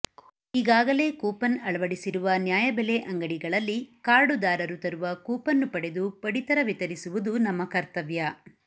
ಈಗಾಗಲೇ ಕೂಪನ್ ಅಳವಡಿಸಿರುವ ನ್ಯಾಯಬೆಲೆ ಅಂಗಡಿಗಳಲ್ಲಿ ಕಾರ್ಡುದಾರರು ತರುವ ಕೂಪನ್ನ್ನು ಪಡೆದು ಪಡಿತರ ವಿತರಿಸುವುದು ನಮ್ಮ ಕರ್ತವ್ಯ